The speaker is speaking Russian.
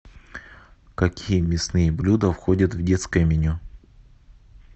какие мясные блюда входят в детское меню